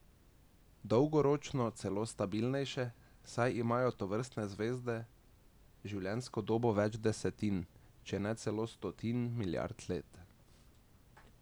Dolgoročno celo stabilnejše, saj imajo tovrstne zvezde življenjsko dobo več desetin, če ne celo stotin milijard let.